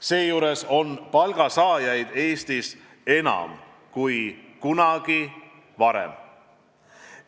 Seejuures on palgasaajaid Eestis enam kui kunagi varem.